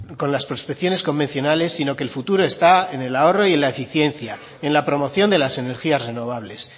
con las prospecciones convencionales sino que el futuro está en el ahorro y en la eficiencia en la promoción de las energías renovables